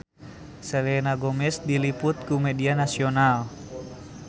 Selena Gomez diliput ku media nasional